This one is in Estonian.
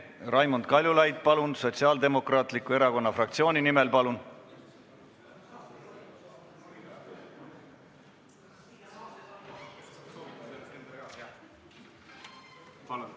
Raimond Kaljulaid Sotsiaaldemokraatliku Erakonna fraktsiooni nimel, palun!